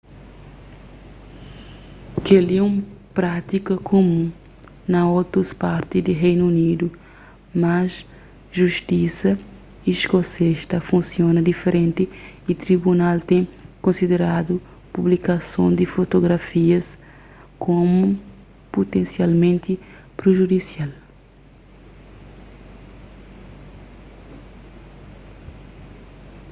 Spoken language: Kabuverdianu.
kel-li é un prátika kumun na otus parti di reinu unidu mas justisa iskosês ta funsiona diferenti y tribunal ten konsideradu publikason di fotografias komu putensialmenti prijudisial